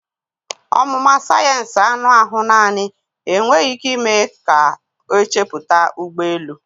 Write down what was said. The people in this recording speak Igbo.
Ọmụma sayensị anụ ahụ naanị enweghị ike ime ka ọ chepụta ụgbọ elu.